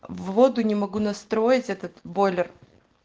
воду не могу настроить этот бойлер